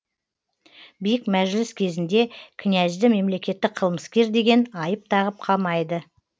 биік мәжіліс кезінде князьді мемлекеттік қылмыскер деген айып тағып қамайды